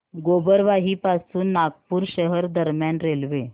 गोबरवाही पासून नागपूर शहर दरम्यान रेल्वे